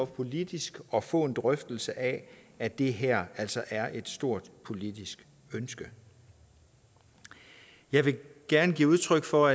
politisk at få en drøftelse af at det her altså er et stort politisk ønske jeg vil gerne give udtryk for